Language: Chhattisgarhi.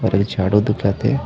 ओदे झाड़ू दिखा थे।